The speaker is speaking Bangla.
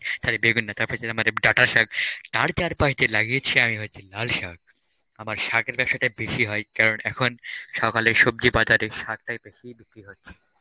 sorry বেগুন না চারপাশ দিয়ে আমার এই ডাটা শাক তার চারপাশ দিয়ে লাগিয়েছি আমি হচ্ছে লাল শাক, আমার শাকের ব্যবসাটা বেশি হয় কারণ এখন সকালে সবজি বাজারে শাকটাই বেশিই বিক্রি হচ্ছে.